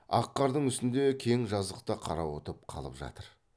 ақ қардың үстінде кең жазықта қарауытып қалып жатыр